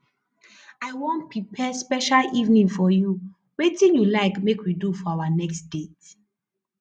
i wan prepare special evening for you wetin you like make we do for our next date